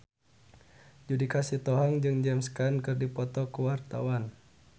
Judika Sitohang jeung James Caan keur dipoto ku wartawan